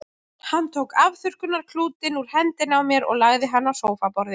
Hann tók afþurrkunarklútinn úr hendinni á mér og lagði hann á sófaborðið.